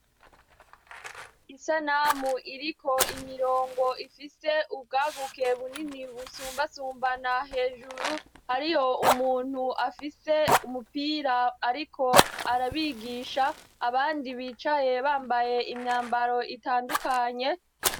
Isanamu iriko imirongo ifise ubwaguke bunini busumbasumbana hejuru hariho umuntu afise umupira ariko arabigisha abandi bicaye bambaye imyambaro itandukanye.